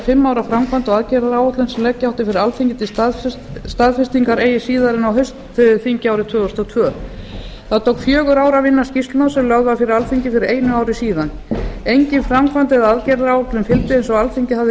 fimm ára framkvæmda og aðgerðaráætlun sem leggja átti fyrir alþingi til staðfestingar eigi síðar en á haustþingi árið tvö þúsund og tvö það tók fjögur ár að vinna skýrsluna sem lögð var fyrir alþingi fyrir einu ári síðan engin framkvæmda eða aðgerðaráætlun fylgdi eins og alþingi hafði